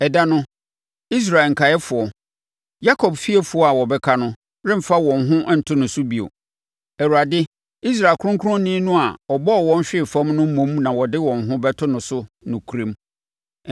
Ɛda no, Israel nkaeɛfoɔ, Yakob fiefoɔ a wɔbɛka no remfa wɔn ho nto no so bio. Awurade, Israel Kronkronni no a ɔbɔɔ wɔn hwee fam no mmom na wɔde wɔn ho bɛto no so nokorɛm.